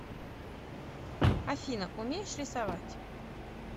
афина умеешь рисовать